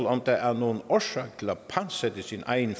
om der er nogen årsag til at pantsætte sin egen